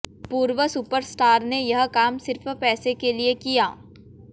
पूर्व super star ने यह काम सिर्फ पैसे के लिए किया